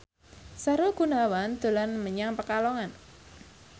Sahrul Gunawan dolan menyang Pekalongan